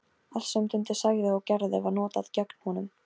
Allt sem Dundi sagði og gerði var notað gegn honum.